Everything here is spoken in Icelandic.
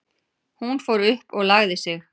Hún fór upp og lagði sig.